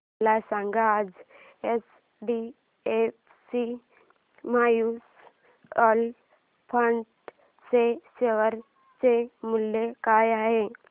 मला सांगा आज एचडीएफसी म्यूचुअल फंड च्या शेअर चे मूल्य काय आहे